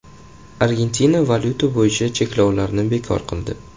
Argentina valyuta bo‘yicha cheklovlarni bekor qildi .